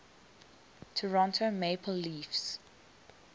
toronto maple leafs